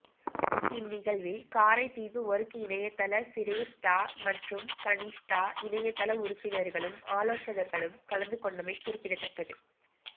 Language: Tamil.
இந் நிகழ்வில் காரைதீவு ஒர்க் இணையத்தள சிரேஷ்ட மற்றும் கனிஷ்ட இணையத்தள உறுப்பினாகளும் ஆலோசகர்களும் கலந்து கொண்டமை குறிப்பிடத்தக்கது